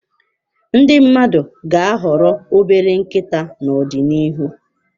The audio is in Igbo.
Ndi mmadụ ga-ahọrọ obere nkịta n'ọdịnihu.